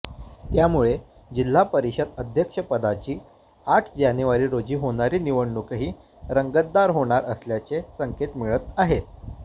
त्यामुळे जिल्हा परिषद अध्यक्षपदाची आठ जानेवारी रोजी होणारी निवडणूकही रंगतदार होणार असल्याचे संकेत मिळत आहेत